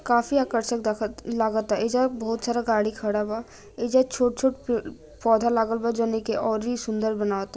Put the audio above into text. काफी आकर्ष्क लागत एजा बहुत सारा गाड़ी खड़ा बा एजा छोट-छोट अ पौधा लागल बा और ही सुंदर बना